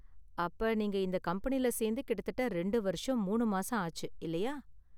அப்ப, நீங்க இந்த கம்பெனியில சேர்ந்து கிட்டத்தட்ட ரெண்டு வருஷம் மூணு மாசம் ஆச்சு, இல்லயா?